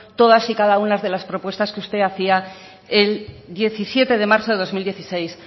todas y cada una de las propuestas que usted hacia el diecisiete de marzo del dos mil dieciséis